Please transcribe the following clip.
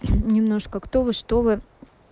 немножко кто вы что вы